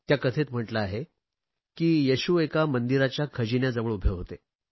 त्या कथेत म्हटले आहे की येशू एका मंदिराच्या खजिन्याजवळ उभे होते